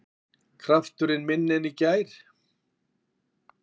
Krafturinn minni en í gær